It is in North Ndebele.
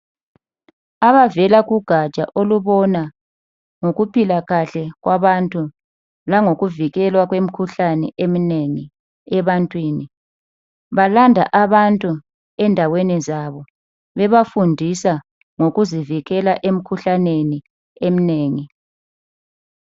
Abavela kugaja olubona ngokuphila kahle kwabantu langokuvikelwa kwemikhuhlane eminengi ebantwini balanda abantu endaweni zabo bebafundisa ngokuzivikela emikhuhlaneni eminengi.